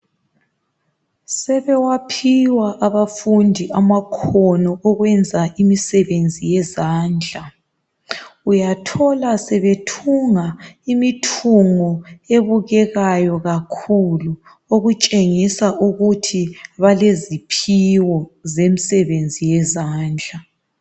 Sebewaphiwa abafundi amakhono okwenza imisebenzi yezandla. Uyathola sebethunga imithungo ebukekayo kakhulu. Okutshengisa ukuthi baleziphiwo zemisebenzi yezandla.